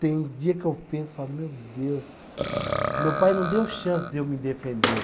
Tem dia que eu penso e falo, meu Deus, meu pai não deu chance de eu me defender.